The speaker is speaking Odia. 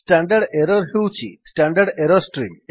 ଷ୍ଟଡର ହେଉଛି ଷ୍ଟାଣ୍ଡାର୍ଡ ଏରର୍ ଷ୍ଟ୍ରିମ୍